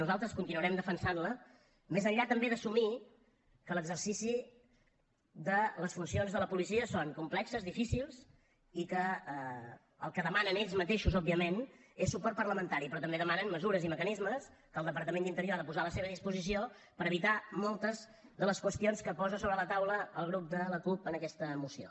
nosaltres continuarem defensant la més enllà també d’assumir que l’exercici de les funcions de la policia és complex difícil i que el que demanen ells mateixos òbviament és suport parlamentari però també demanen mesures i mecanismes que el departament d’interior ha de posar a la seva disposició per evitar moltes de les qüestions que posa sobre la taula el grup de la cup en aquesta moció